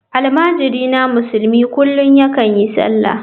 Almajirina musulmi kullum yakan yi sallah.